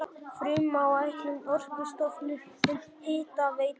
Frumáætlun Orkustofnunar um hitaveitu frá